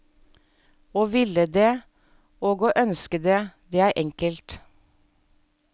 Å ville det, og å ønske det, det er enkelt.